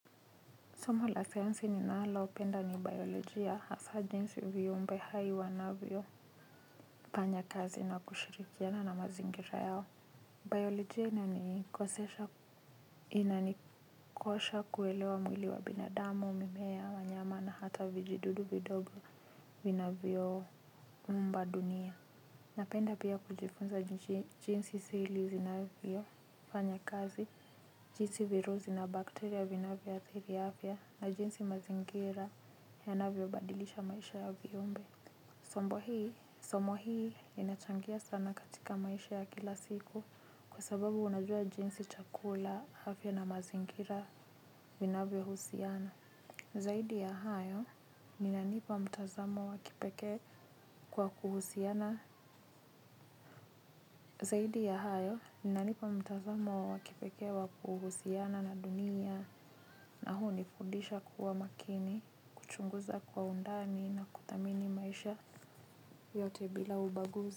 Soma la sayansi ninalopenda ni biolojia hasa jinsi viumbe hai wanavyo fanya kazi na kushirikiana na mazingira yao. Biolojia inanikoseshs inanikosha kuelewa mwili wa binadamu, mimea, wanyama na hata vijidudu vidogo vinavyoumba dunia. Napenda pia kujifunza jinsi seli zinavyo, fanya kazi, jinsi virusi na bakteria vinavyo athiri afya na jinsi mazingira yanavyo badilisha maisha ya viumbe. Sombo hii, somo hii inachangia sana katika maisha ya kila siku kwa sababu unajua jinsi chakula afya na mazingira vinavyo husiana. Zaidi ya hayo, unanipa mtazamo wa kipekee wa kuhusiana na dunia na huu hunifudisha kuwa makini, kuchunguza kwa undani na kuthamini maisha yote bila ubaguzi.